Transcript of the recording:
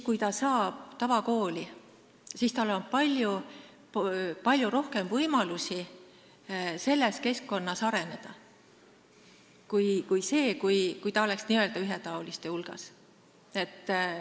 Kui ta saab õppida tavakoolis, siis on tal selles keskkonnas palju rohkem võimalusi areneda, kui tal oleks n-ö ühetaoliste laste hulgas.